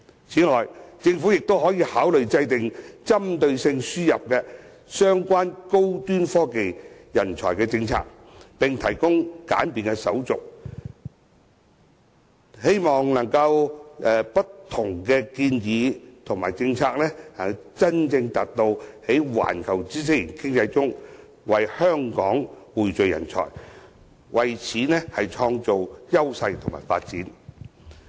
此外，政府亦可考慮制訂針對性的輸入相關高端科技人才政策，並簡化手續，希望藉着不同建議和政策，真正達到在環球知識型經濟中為香港匯聚人才，創造優勢和發展。